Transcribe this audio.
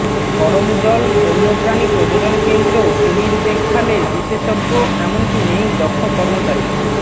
করমজল বন্য প্রাণী প্রজননকেন্দ্র কুমির দেখভালে বিশেষজ্ঞ এমনকি নেই দক্ষ কর্মচারী